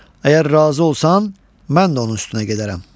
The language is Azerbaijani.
Əgər razı olsan, mən də onun üstünə gedərəm.